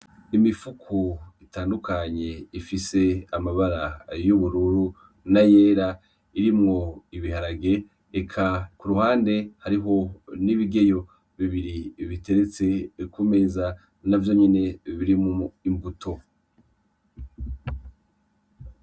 Imifuko itandukanye, ifise amabara ayubururu, n'ayera, irimwo ibiharage eka kuruhande hariho n'ibigeyo, bibiri biteretse kumeza ,navyonyene birimwo imbuto.